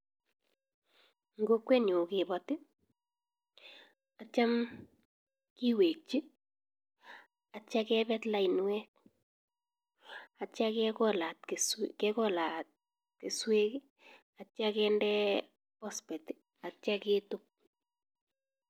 En Kokwenyun kebati akityem keweki akitya kenet lainwek akitya kekolat keswek akitya kende phosphate akitya ketub